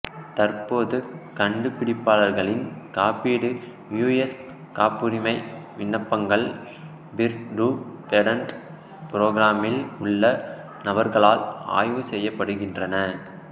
தற்போது கண்டுபிடிப்பாளர்களின் காப்பீடு யுஎஸ் காப்புரிமை விண்ணப்பங்கள் பீர் டூ பேடன்ட் ப்ரோக்ராமில் உள்ள நபர்களால் ஆய்வு செய்யப்படுகின்றன